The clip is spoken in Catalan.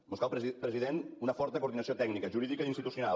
mos cal president una forta coordinació tècnica jurídica i institucional